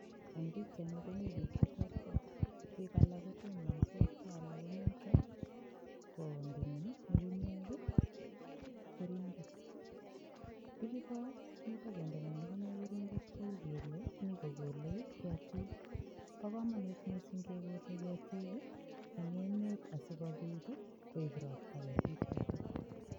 Eng' pikchaini komi biik cheterter biik alak kotonosot ko alak komito kondeni nyukunyek keringet bichuto mi kondeni nyukunyek keringet kou kele mi kokolei ketik bo komonut mising' kekolei ketik eng' emet asikobit koib ropta ketichoto